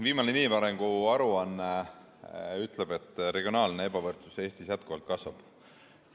Viimane inimarengu aruanne ütleb, et regionaalne ebavõrdsus Eestis jätkuvalt kasvab.